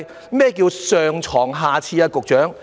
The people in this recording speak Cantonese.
局長，何謂"上床下廁"？